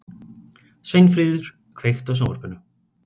Sveinfríður, kveiktu á sjónvarpinu.